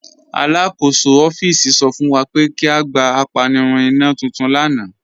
Alakọsọ ọffíísì sọ fún wa pé kí a gbà àpànìrùn ìnà tuntun lána.